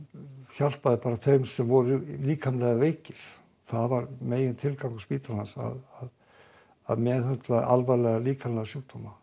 hjálpaði bara þeim sem voru líkamlega veikir það var megintilgangur spítalans að meðhöndla alvarlega líkamlega sjúkdóma